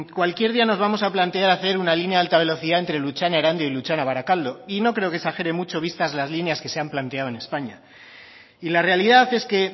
cualquier día nos vamos a plantear hacer una línea de alta velocidad entre lutxana erandio y lutxana barakaldo y no creo que exagere mucho vistas las líneas que se han planteado en españa y la realidad es que